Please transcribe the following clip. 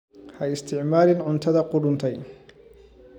Ha isticmaalin cuntada qudhuntay.